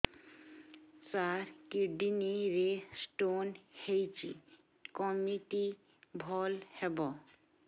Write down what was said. ସାର kidney ରେ stone ହେଇଛି କମିତି ଭଲ ହେବ